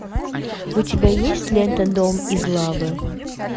у тебя есть лента дом из лавы